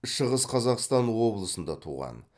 шығыс қазақстан облысында туған